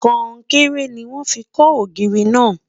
konkere ní wọn fí kò ògiri na